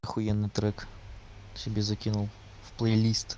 ахуенный трек себе закинул в плей лист